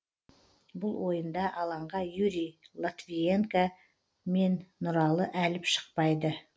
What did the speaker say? бұл ойында алаңға юрий логвиненко мен нұралы әліп шықпайды